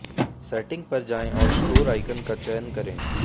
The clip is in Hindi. सेटिंग पर जाएं और स्टोर आइकन का चयन करें